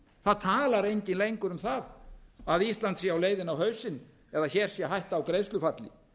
það talar enginn lengur um það að ísland sé leiðinni á hausinn eða hér sé hætta á greiðslufalli